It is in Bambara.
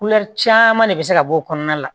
caman de bɛ se ka bɔ o kɔnɔna la